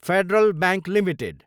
federal Bank Ltd